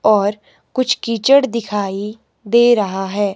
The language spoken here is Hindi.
और कुछ कीचड़ दिखाई दे रहा हैं।